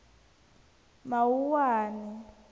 mawuwani